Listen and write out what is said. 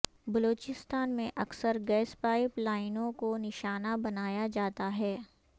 بلوچستان میں اکثر gas pipe لائنوں کو نشانہ بنایا جاتا ہے